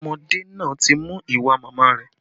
Ọmọdé náà ti mú ìwà màmá rẹ